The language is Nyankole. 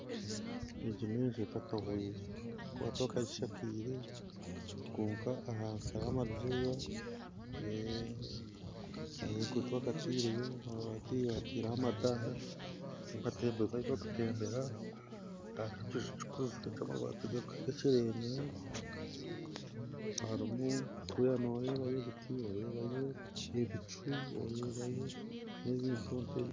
Egi n'enju etakahwire ahakuba tibakagishakeire kwonka ahansi hariho amadirisa ahaiguru tibakateireyo mabati bateireho amadara amatembero ahu barukutembera hariho ekiju kikuzire ky'amabati gakyerenyere harumu kuriya noorebayo ebiti oreebayo ebicu oreebayo n'ebintuntu ebindi.